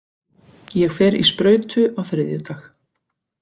Ég fer í sprautu á þriðjudag.